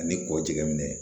Ani kɔ jɛminɛ